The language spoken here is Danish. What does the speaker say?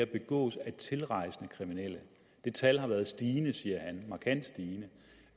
begås af tilrejsende kriminelle det tal har været stigende siger han markant stigende